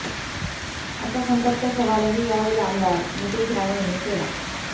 असा संतप्त सवालही यावेळी आमदार नितेश राणे यांनी केला